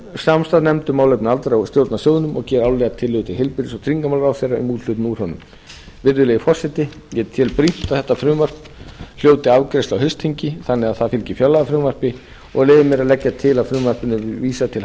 samstarfsnefnd um málefni aldraðra á að stjórna sjóðnum og gera árlega tillögur til heilbrigðis og tryggingaráðherra um úthlutun úr honum virðulegi forseti ég tel brýnt að þetta frumvarp hljóti afgreiðslu á haustþingi þannig að það fylgi fjárlagafrumvarpi og leyfi mér að leggja til að frumvarpinu verði vísað til